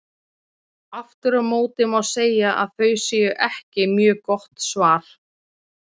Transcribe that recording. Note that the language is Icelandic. Aftur á móti má segja að þau séu ekki mjög gott svar.